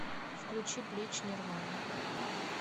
включи блич нирвана